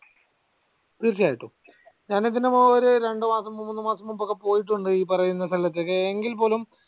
തീർച്ചയായിട്ടും ഞാനിതിന് മുമ്പൊരു രണ്ടുമാസം മൂന്നുമാസം മുമ്പൊക്കെ ഈ പറയുന്ന സ്തലത്തൊക്കെ എങ്കിൽപ്പോലും